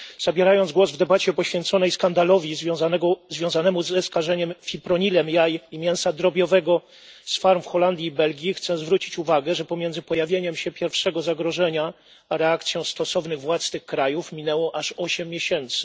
Zabierając głos w debacie poświęconej skandalowi związanemu ze skażeniem fipronilem jaj i mięsa drobiowego z farm w Holandii i Belgii, chcę zwrócić uwagę, że pomiędzy pojawieniem się pierwszego zagrożenia a reakcją stosownych władz tych krajów minęło aż osiem miesięcy.